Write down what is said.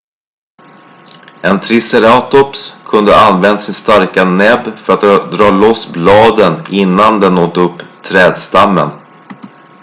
en triceratops kunde ha använt sin starka näbb för att dra loss bladen innan den åt upp trädstammen